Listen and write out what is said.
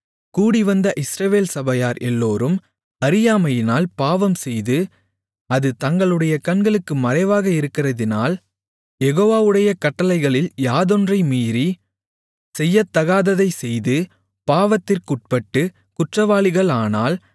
கூடி வந்த இஸ்ரவேல் சபையார் எல்லோரும் அறியாமையினால் பாவம்செய்து அது தங்களுடைய கண்களுக்கு மறைவாக இருக்கிறதினால் யெகோவாவுடைய கட்டளைகளில் யாதொன்றை மீறி செய்யத்தகாததைச் செய்து பாவத்திற்குட்பட்டுக் குற்றவாளிகளானால்